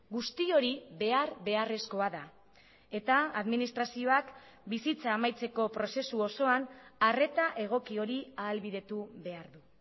guzti hori behar beharrezkoa da eta administrazioak bizitza amaitzeko prozesu osoan arreta egoki hori ahalbidetu behar du